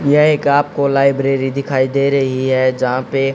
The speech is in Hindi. यह एक आपको लाइब्रेरी दिखाई दे रही है जहां पे--